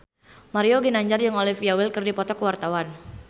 Mario Ginanjar jeung Olivia Wilde keur dipoto ku wartawan